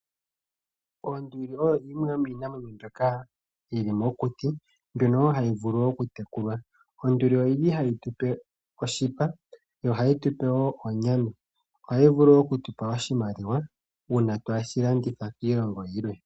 Oonduli odho iinamwenyo mbyoka yili mokuti, mbyono wo hayi vulu okutekulwa. Onduli ohayi zi oshipa nosho wo onyama. Ohayi vulu wo okuza oshimaliwa uuna ya landithwa kiilongo yilwe.